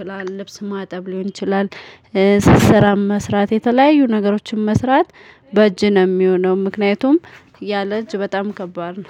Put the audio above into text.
ይችላል ልብስ ማጠብ ሊሆን ይችላል። ስራም መስራት የተለዩ ነገሮችን መስራት በጅህ ነው የሚሆነው ምክንያትም የለእጅ በጣም ከባድ ነው